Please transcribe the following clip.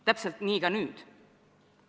Täpselt nii ka nüüd.